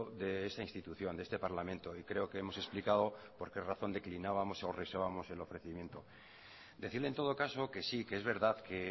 de esta institución de este parlamento y creo que hemos explicado por qué razón declinábamos o rehusábamos el ofrecimiento decirle en todo caso que sí que es verdad que